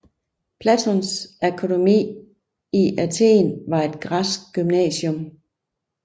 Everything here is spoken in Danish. Platons akademi i Athen var et græsk gymnasium